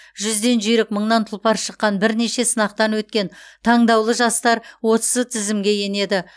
жүзден жүйрік мыңнан тұлпар шыққан бірнеше сынақтан өткен таңдаулы жастар осы тізімге енеді